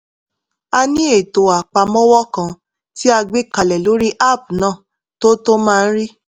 a ní ètò apamọwọ kan tí a gbé kalẹ̀ lórí app náà tó tó máa ń rí